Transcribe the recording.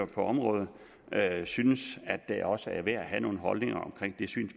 på området synes at det også er værd at have nogle holdninger omkring